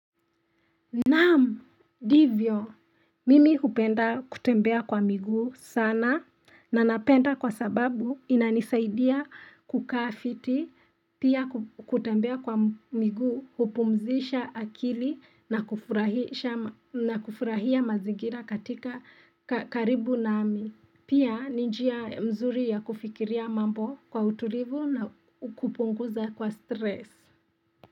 Nam ndivyo mimi hupenda kutembea kwa miguu sana na napenda kwa sababu inanisaidia kukafiti pia kutembea kwa miguu hupumzisha akili na kufurahia mazigira katika karibu nami pia ninjia mzuri ya kufikiria mambo kwa utulivu na kupunguza kwa stress.